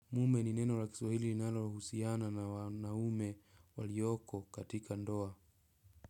Mume ni neno la kiswahili linalohusiana na wanaume walioko katika ndoa.